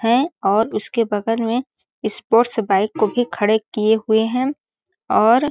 है और उसके बगल में स्पोर्ट्स बाइक को भी खड़े किए हुए हैं और --